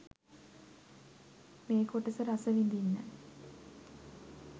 මේ කොටස රසවිඳින්න